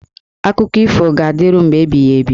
Akụkọ ifo ga-adịru mgbe ebighị ebi.